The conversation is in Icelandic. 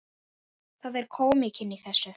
Það er kómíkin í þessu.